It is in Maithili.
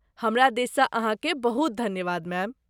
हमरा दिससँ अहाँकेँ बहुत धन्यवाद मैम!